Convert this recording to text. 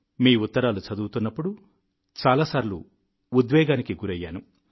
మీ ఉత్తరాలు చదువుతున్నప్పుడు చాలా సార్లు ఉద్వేగానికి గురయ్యాను